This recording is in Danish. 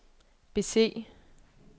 bese